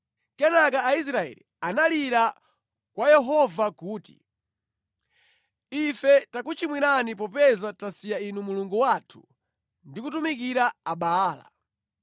Kenaka Aisraeli analira kwa Yehova kuti, “Ife takuchimwirani popeza tasiya Inu Mulungu wathu ndi kutumikira Abaala.”